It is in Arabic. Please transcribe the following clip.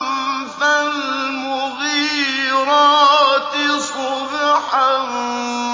فَالْمُغِيرَاتِ صُبْحًا